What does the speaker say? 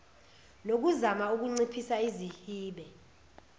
nokuzama ukunciphisa izihibe